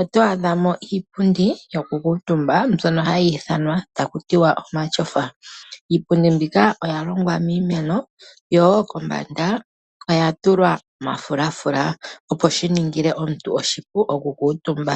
oto adha mo iipundi yokukuutumba mbyono hayi ithanwa ta ku tiwa omatyofa. Iipundi mbika oya longwa miimeno yo wo kombanda oya tulwa omafulafula opo shi ningile omuntu oshipu oku kuutumba.